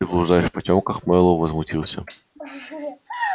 ты блуждаешь в потёмках мэллоу возмутился